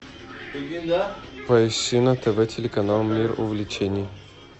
поищи на тв телеканал мир увлечений